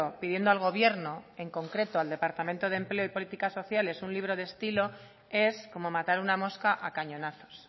pidiendo al gobierno en concreto al departamento de empleo y políticas sociales un libro de estilo es como matar una mosca a cañonazos